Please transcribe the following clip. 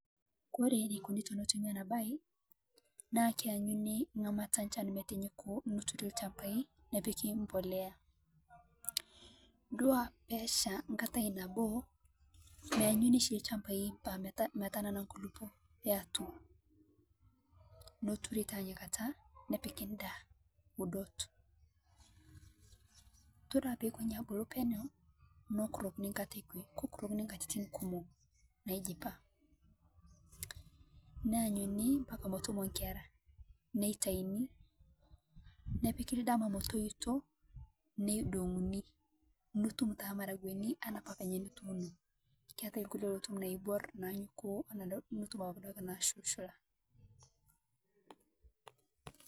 Kore neikunii tonotuumi ana baye naa keyanyuni ng'amata echaan metinyuku neturii elchambai nepiiki mbolea . Duaa pee eshaa nkaatai naboo meayuni sii lchambai meetanana nkulupoo eatua. Notuuri taa enia nkaata nepiiki ndaa udoot. Todua pee eikooni abuluu pee nyaa neikorokini nkaata ekwee keikurokini nkatitin kumoo naijipaa. Naayuni mbakaa meetuumo nkeera neitaini nepiiki ldama metoitoo neidoyunyi nituum taa lmaragwen ana apaa penye nutuuno, keatai lkulie lotum loibuor nanyokuo nutum abaki duake nashulshulaa.